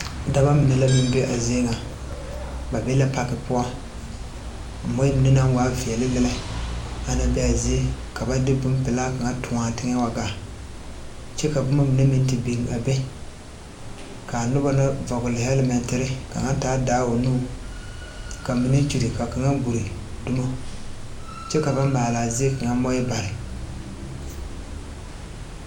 Dɔbɔ mine la meŋ be a zie ŋa ba be la paki poɔ moɔɛ mine naŋ waa veɛle ana bee aa zie ka ba de bonpilaa kaŋa tõɔ aa teŋɛ wa gaa kyɛ ka bomma mine meŋ te biŋ a be kaa nobɔ na vɔgle hɛlmɛnterre ka kaŋa taa daa o nuŋ ka mine kyure ka kaŋa gure dumo kyɛ ka ba maalaa zie kaŋa moɔɛ bare.